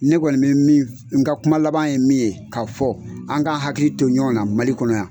Ne kɔni bi min n ka kuma laban ye min ye, ka fɔ, an ga hakili to ɲɔgɔn na, Mali kɔnɔ yan.